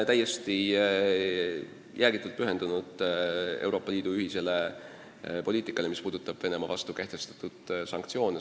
Eesti on jäägitult pühendunud Euroopa Liidu ühisele poliitikale, mis puudutab Venemaa vastu kehtestatud sanktsioone.